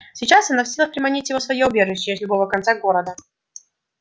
сейчас она в силах приманить его в своё убежище с любого конца города